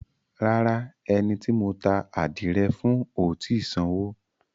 Rárá, ẹni tí mo ta ádìrẹ fún ò tì í sanwó.